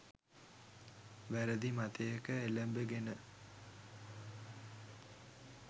වැරදි මතයක එළඹගෙන.